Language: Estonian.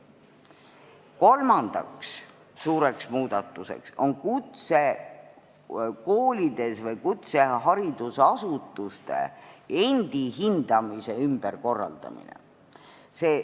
Kolmas suur muudatus on kutsekoolide või kutseharidusasutuste endi hindamise ümberkorraldamine.